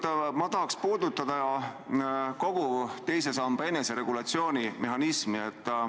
Tegelikult ma tahaks puudutada kogu teise samba eneseregulatsiooni mehhanismi.